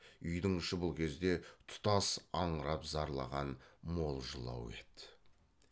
үйдің іші бұл кезде тұтас аңырап зарлаған мол жылау еді